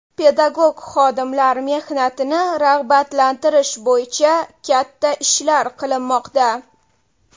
Pedagog xodimlar mehnatini rag‘batlantirish bo‘yicha katta ishlar qilinmoqda.